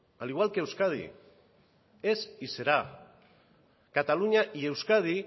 al igual que euskadi es y será cataluña y euskadi